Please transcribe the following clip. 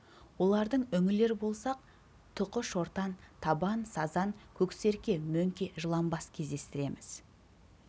олардың үңілер болсақ тұқы шортан табан сазан көксерке мөңке жыланбас кездестіреміз